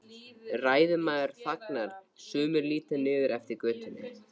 Ræðumaður þagnar, sumir líta niður eftir götunni.